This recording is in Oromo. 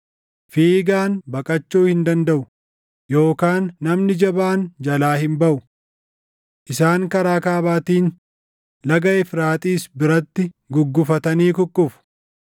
“Fiigaan baqachuu hin dandaʼu; yookaan namni jabaan jalaa hin baʼu. Isaan karaa kaabaatiin Laga Efraaxiis biratti guggufatanii kukkufu.